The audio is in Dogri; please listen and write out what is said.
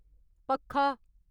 पक्खा